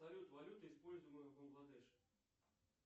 салют валюта используемая в бангладеше